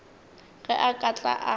ge a ka tla ka